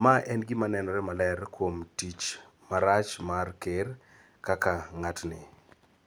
ma en gima nenore maler kuom tim marach mar Ker kaka ng�atni.